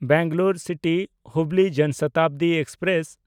ᱵᱮᱝᱜᱟᱞᱳᱨ ᱥᱤᱴᱤ–ᱦᱩᱵᱞᱤ ᱡᱚᱱ ᱥᱚᱛᱟᱵᱫᱤ ᱮᱠᱥᱯᱨᱮᱥ